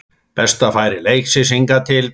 Besta færi leiksins hingað til